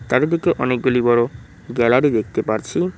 চারিদিকে অনেকগুলি বড় গ্যালারি দেখতে পারছি।